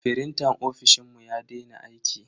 Frintan ofishinmu ya daina aiki.